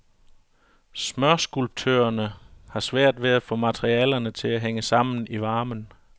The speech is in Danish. Smørskulptørerne har svært ved at få materialerne til at hænge sammen i varmen.